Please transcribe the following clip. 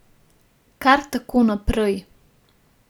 Kar tako naprej.